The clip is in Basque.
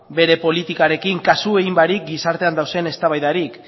bere politikarekin kasu egin barik gizartean dauden eztabaidari